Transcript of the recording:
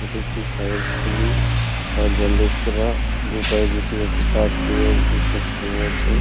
এটি একটি পায়ের ছবি পায়ে ব্যান্ডেজ করা দুপায়ে দুটি একটি পা তুলে এক বৃদ্ধা শুয়ে আছে।